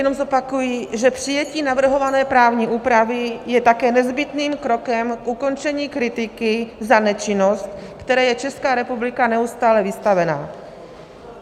Jenom zopakuji, že přijetí navrhované právní úpravy je také nezbytným krokem k ukončení kritiky za nečinnost, které je Česká republika neustále vystavena.